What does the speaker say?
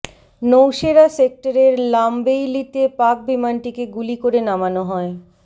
নৌসেরা সেক্টরের লামবেইলীতে পাক বিমানটিকে গুলি করে নামানো হয়